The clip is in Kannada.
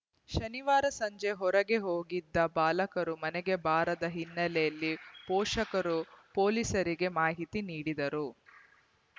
ಶನಿವಾರ ಸಂಜೆ ಹೊರಗೆ ಹೋಗಿದ್ದ ಬಾಲಕರು ಮನೆಗೆ ಬಾರದ ಹಿನ್ನೆಲೆಯಲ್ಲಿ ಪೋಷಕರು ಪೊಲೀಸರಿಗೆ ಮಾಹಿತಿ ನೀಡಿದ್ದರು